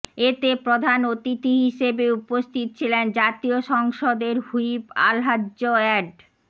এতে প্রধান অতিথি হিসেবে উপস্থিত ছিলেন জাতীয় সংসদের হুইপ আলহাজ্ব অ্যাড